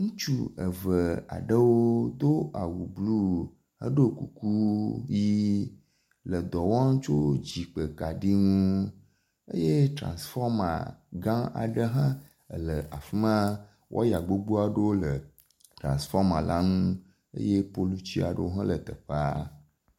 Ŋutsu eve aɖewo do awu blu heɖo kuku ʋi le dɔ wɔm tso dzigbekaɖi ŋu eye trasifɔma gã aɖe hã le afi ma. Waya gbogbo aɖewo le trasifɔma le ŋu eye poluti aɖewo le teƒea.